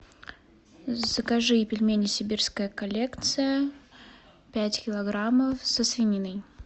закажи пельмени сибирская коллекция пять килограммов со свининой